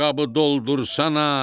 boşqabı doldursana,